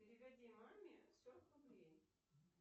переведи маме сорок рублей